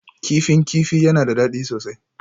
Kifin kifi yana da daɗi sosai